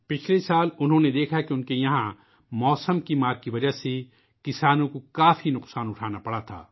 پچھلے سال انہوں نے دیکھا کہ اپنی جگہ موسم کی وجہ سے کسانوں کو بہت پریشانی کا سامنا کرنا پڑا